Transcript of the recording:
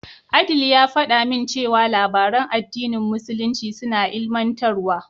Adeel ya faɗa min cewa labaran addinin musulunci suna ilimantarwa.